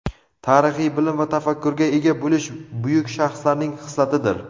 Tarixiy bilim va tafakkurga ega bo‘lish buyuk shaxslarning xislatidir.